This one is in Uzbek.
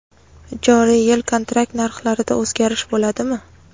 Joriy yil kontrakt narxlarida o‘zgarish bo‘ladimi?.